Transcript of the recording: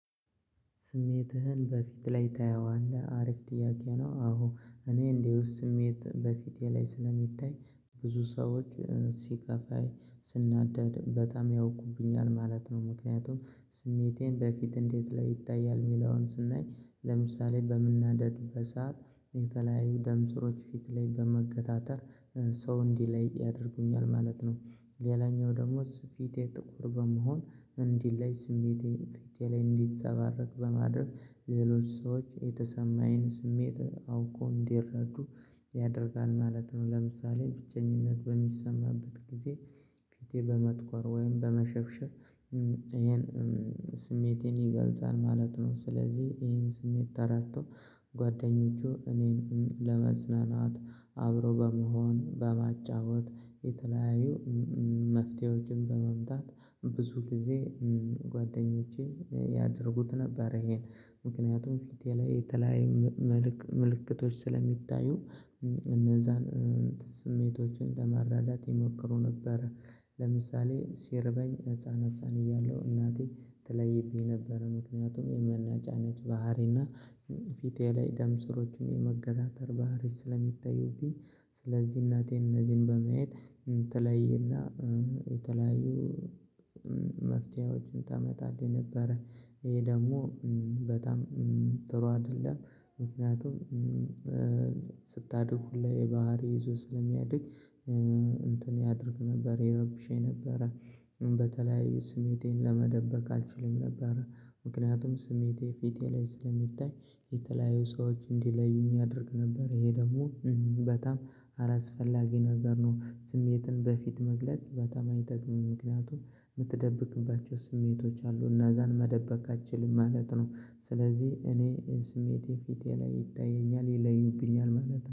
ስሜትህን በፊት ላይ ታየዋለህ አሪፍ ጥያቄ ነው? አዎ እኔ እንዲሁ ስሜት በፊቴ ላይ ስለሚታይ ብዙ ሰዎች ሲከፋኝ ስናደድ በጣም ያውቁብኛል ማለት ነው። ምክንያቱም ስሜቴን በፊት እንዴት ላይ ይታያል የሚለውን ስናይ ለምሳሌ በምናደድ በሰአት የተለያዩ ደምሰሮች ፊት ላይ በመገታተር ሰው እንዲለይ ያደርጉኛል ማለት ነው። ሌላኛው ደሞዝ ፊቴ ጥቁር በመሆን እንዲለይ ስሜቴን ፊቴ ላይ እንዲጸባረቅ በማድረግ ሌሎች ሰዎች የተሰማኝን ስሜት አውቆ እንዲረዱ ያደርጋል ማለት ነው። ለምሳሌ ብቸኝነት በሚሰማበት ጊዜ ፊቴ በመጥቆር ወይም በመሸብሸብ ይሄን ስሜቴን ይገልጻል ማለት ነው። ስለዚህ ይሄን ስሜት ተረድቶ ጓደኞቸ እኔንም ለማጽናናት አብሮ በመሆን በማጫወት የተለያዩ መፍትሄዎችን በማምጣት ብዙ ጊዜ ጓደኞቼ ያድርጉት ነበር። ይሄን ምክንያቱም ፊቴ ላይ የተለያየ ምልክቶች ስለሚታዩ እነዛን ስሜቶችን ለመረዳት ይሞክሩ ነበር። ለምሳሌ ሲርበኝ ህፃን ህፃን እያለሁ እናቴ ተለይብኝ ነበር። ምክንያቱም የሚያነጫንጭ አይነት ባህሪና ፊቴ ላይ ደምሰሮቹን የመገታተር ባህሪ ስለሚታዩብኝ ስለዚህ እናቴ እነዚህን በማየት ተለይና የተለያዩ መፍትሄዎችን ታመጣልኝ ነበረ። ይሄ ደግሞ በጣም ጥሩ አይደለም ምክንያቱም ስታድጉሁላ ይሄ ባህሪ ይዞ ስለሚያድግ እንትን ያድርግ ነበር የረብሸኝ ነበረ። በተለያዩ ስሜቴን ለመደበቅ አልችልም ነበር። ምክንያቱም ስሜቴ ፊቴ ላይ ስለሚታይ የተለያዩ ሰዎች እንዲለዩኝ ያደርግ ነበር ይሄ ደግሞ በጣም አላስፈላጊ ነገር ነው። ስሜትን በፊት መግለጽ በጣም አይጠቅምም ምክንያቱም የምትደብቅባቸው ስሜቶች አሉ እና እዛን መደበቅ አትችልም ማለት ነው። ስለዚህ እኔ ስሜቴ ፊቴ ላይ ይታየኛል ይለዩብኛል ማለት ነው